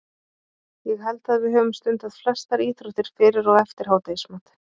Ég held að við höfum stundað flestar íþróttir, fyrir og eftir hádegismat.